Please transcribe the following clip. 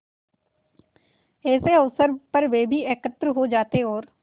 ऐसे अवसरों पर वे भी एकत्र हो जाते और